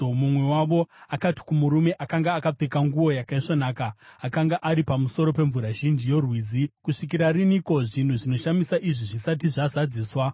Mumwe wavo akati kumurume akanga akapfeka nguo yakaisvonaka, akanga ari pamusoro pemvura zhinji yorwizi, “Kusvikira riniko zvinhu zvinoshamisa izvi zvisati zvazadziswa?”